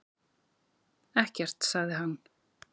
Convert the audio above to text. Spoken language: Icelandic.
Ekkert, sagði hann.